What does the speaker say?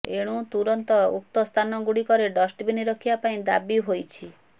ଏଣୁ ତୁରନ୍ତ ଉକ୍ତ ସ୍ଥାନ ଗୁଡିକରେ ଡଷ୍ଟବିନ ରଖିବା ପାଇଁ ଦାବି ହୋଇଛି